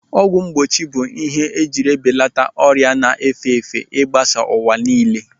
Ọgwụ mgbochi bụ ihe ejiri belata ọrịa na-efe efe igbasa n'ụwa niile.